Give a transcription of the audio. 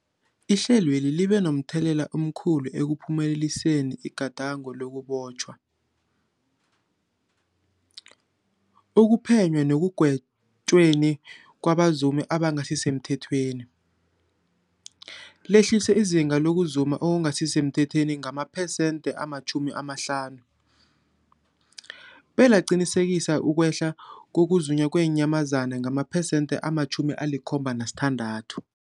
Ihlelweli libe momthelela omkhulu ekuphumeleliseni igadango lokubotjhwa, ukuphenywa nekugwetjweni kwabazumi abangasisemthethweni, lehlisa izinga lokuzuma okungasi semthethweni ngamaphesenthe-50, belaqinisekisa ukwehla kokuzunywa kweenyamazana ngamaphesenthe-76.